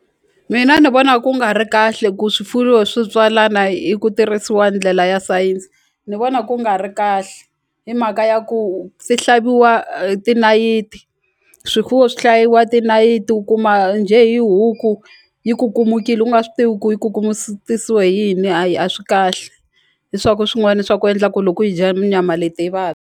Mina ni vona ku nga ri kahle ku swifuwo swi tswalana yi ku tirhisiwa ndlela ya sayense ni vona ku nga ri kahle hi mhaka ya ku tinayiti swifuwo swi hlayiwa tinayiti u kuma njhe hi huku yi kukumukile u nga swi tivi ku yi ku hi yini hayi a swi kahle hi swa ku swin'wani swa ku endla ku loko yi dya nyama leti hi .